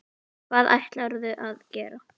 Hvað ætlarðu að gera?